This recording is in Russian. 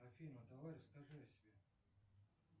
афина давай расскажи о себе